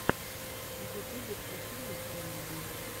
в ютубе включи мне элли ди